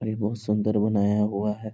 और ये बहुत सुन्दर बनाया हुआ है।